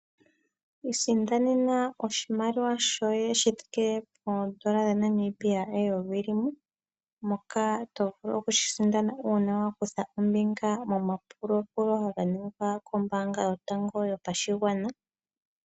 Isindanena oshimaliwa shoye shi thike poondola eyovi dha Namibia ,shoka to vulu okushi sindana uuna wa kutha ombinga momapulaapulo ngoka haga ningwa kombaanga yotango yopashigwana.